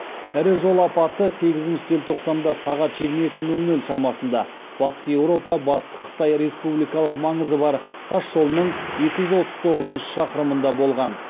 ірі жол апаты сегізінші желтоқсанда сағат жиырма екі нөл нөл шамасында батыс еуропа батыс қытай республикалық маңызы бар тас жолының екі жүз отыз тоғызыншы шақырымында болған